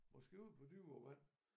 Måske ud på dybere vand